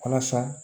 Walasa